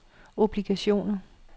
obligationer